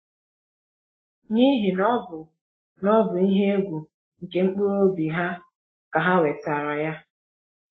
N’ihi na ọ bụ na ọ bụ n’ihe egwu nke mkpụrụ obi ha ka ha wetara ya.